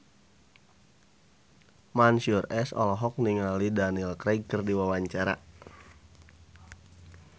Mansyur S olohok ningali Daniel Craig keur diwawancara